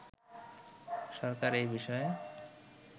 সরকার এ বিষয়ে